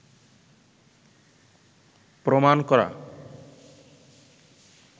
প্রমাণ করা